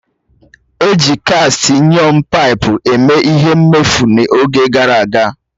Eji kast ayọn paipu eme ihe mmefu n'oge gara aga